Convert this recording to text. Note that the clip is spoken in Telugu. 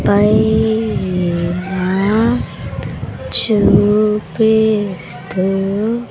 పైన చూపిస్తూ--